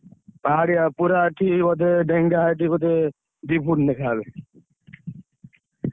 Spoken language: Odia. ପାହାଡିଆ ପୁରା ଏଠି ବୋଧେ ଡେଙ୍ଗା ଏଠି ବୋଧେ ଦି foot ଲେଖା ହେବେ।